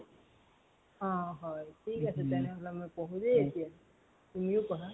থিক আছে তেন্তে মই পঢ়ো দেই এতিয়া। তুমিও পঢ়া।